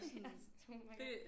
Ja sådan oh my god